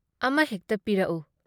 ꯑꯃꯍꯦꯛꯇ ꯄꯤꯔꯛꯎ꯫"